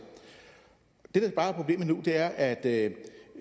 det der bare er problemet nu er at